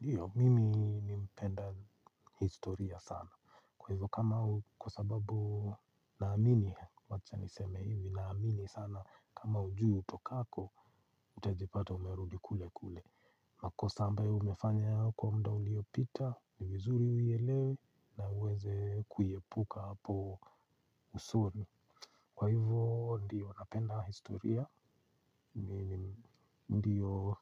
Ndiyo, mimi nimpenda historia sana. Kwa hivyo kama u, kwa sababu naamini, wacha niseme hivi, naamini sana kama ujui utokako, utajipata umerudi kule kule. Makosa ambayo umefanya ya hapo kwa muda uliopita, ni vizuri uielewe, na uweze kuepuka hapo vizuri. Kwa hivyo ndiyo napenda historia, ndiyo